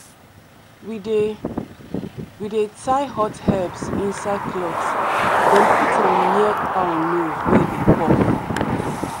we dey we dey tie hot herbs inside cloth then put am near cow nose wey dey cough.